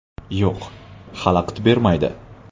Yo‘q, xalaqit bermaydi.